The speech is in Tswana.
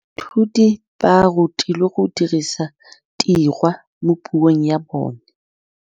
Baithuti ba rutilwe go dirisa tirwa mo puong ya bone.